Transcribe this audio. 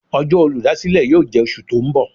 Ọjọ́ olúdásílè yóò jẹ́ oṣù tó ń bọ̀.